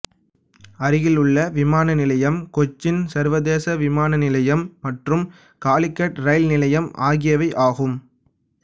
அருகிலுள்ள விமான நிலையம் கொச்சின் சர்வதேச விமான நிலையம் மற்றும் காலிகட் ரயில் நிலையிம் ஆகியவை ஆகும்